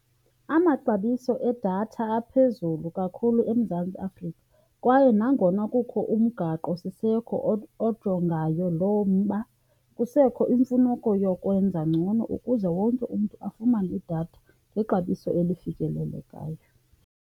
Amaxabiso edatha aphezulu kakhulu eMzantsi Afrika kwaye nangona kukho umgaqosiseko ojongayo lo mba kusekho iimfuneko yokwenza ngcono ukuze wonke umntu afumane idatha ngexabiso elifikelelekayo.